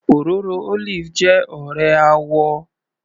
Òróró olive jẹ́ ọ̀rẹ́ àwò